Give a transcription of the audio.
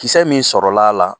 Kisɛ min sɔrɔl'a la